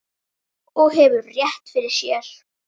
Og hefur rétt fyrir sér.